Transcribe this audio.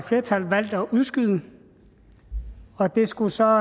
flertal valgt at udskyde og det skulle så